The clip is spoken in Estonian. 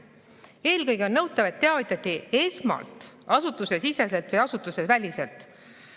] eelkõige on nõutav, et teavitati esmalt asutusesiseselt või asutuseväliselt [...